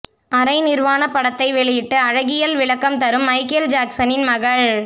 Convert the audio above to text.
அரை நிர்வாண படத்தை வெளியிட்டு அழகியல் விளக்கம் தரும் மைக்கேல் ஜாக்சனின் மகள்